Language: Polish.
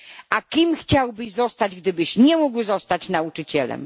A kim chciałbyś zostać gdybyś nie mógł zostać nauczycielem?